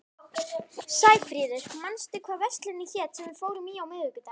Sæfríður, manstu hvað verslunin hét sem við fórum í á miðvikudaginn?